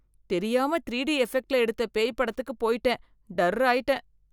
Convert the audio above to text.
தெரியாம த்ரீடி எபெக்ட்ல எடுத்த பேய் படத்துக்கு போய்ட்டேன், டர் ஆயிட்டேன்.